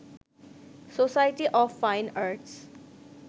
society of fine arts